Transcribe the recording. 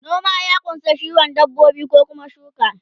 noma ya kunsa kiwon dabbobi ko Kuma shuka